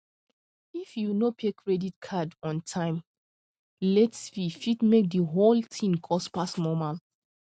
if you no pay credit card on on time late fee fit make the whole thing cost pass normal